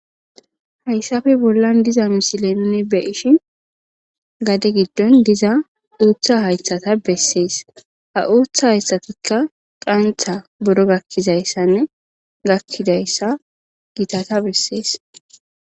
Hayssafe bollan diza musilenne beishi gade giddon diza uuththa haythata bessees ha uuththa hayssatikka qantha buro gakkizayssanne gakkidayssa gitata bessees.